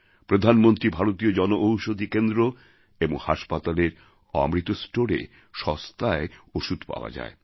প্রধানমন্ত্রী ভারতীয় জনঔষধী কেন্দ্র এবং হাসপাতালের অমৃত স্টোরে সস্তায় ওষুধ পাওয়া যায়